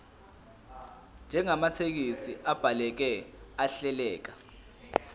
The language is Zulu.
njengamathekisthi abhaleke ahleleka